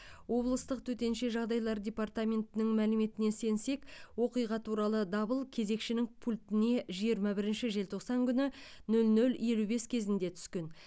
облыстық төтенше жағдайлар департаментінің мәліметіне сенсек оқиға туралы дабыл кезекшінің пультіне жиырма бірінші желтоқсан күні нөл нөл елу бес кезінде түскен